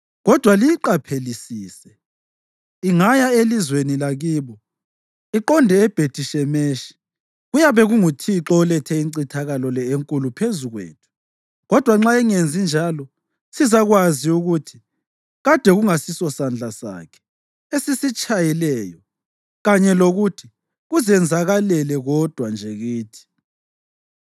kodwa liyiqaphelisise. Ingaya elizweni lakibo, iqonde eBhethi-Shemeshi, kuyabe kunguThixo olethe incithakalo le enkulu phezu kwethu. Kodwa nxa ingenzi njalo, sizakwazi ukuthi kade kungasisosandla sakhe esisitshayileyo kanye lokuthi kuzenzakalele kodwa nje kithi.”